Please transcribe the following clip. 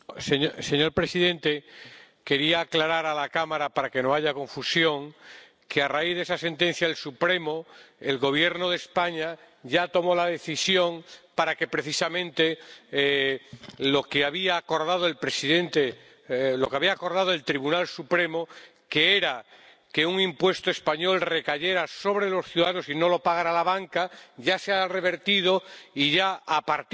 Señor presidente, quería aclarar a la Cámara, para que no haya confusión, que, a raíz de esa sentencia del Supremo, el Gobierno de España ya tomó la decisión para que precisamente lo que había acordado el Tribunal Supremo —que era que un impuesto español recayera sobre los ciudadanos y no lo pagara la banca— ya se ha revertido y ya, a partir